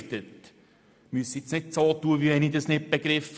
Sie brauchen nicht so zu tun, als hätte ich dies nicht begriffen.